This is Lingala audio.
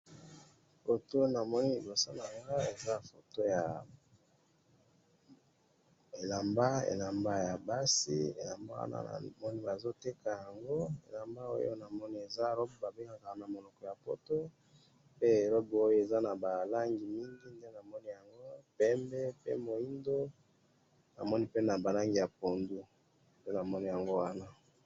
Photo oyo na moni awa, eza elamba ya basi oyo ba bengi na monoko ya lopoto robe, bazo teka yango, eza na ba langi ya pembe, moindo na ya pondu.